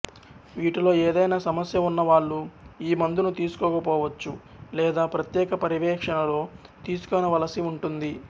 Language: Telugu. వీటిలో ఎదైనా సమస్య ఉన్న వాళ్లు ఈ మందును తీసుకోకపోవచ్చు లేదా ప్రత్యేక పర్యవేక్షణలో తీసుకొనవలసి ఉంటుంది